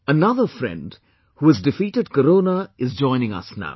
Another friend, who has defeated Corona is joining us now